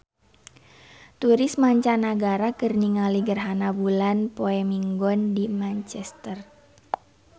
Turis mancanagara keur ningali gerhana bulan poe Minggon di Manchester